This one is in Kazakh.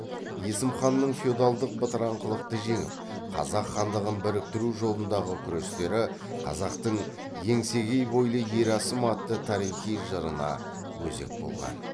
есім ханның феодалдық бытыраңқылықты жеңіп қазақ хандығын біріктіру жолындағы күрестері қазақтың еңсегей бойлы ер есім атты тарихи жырына өзек болған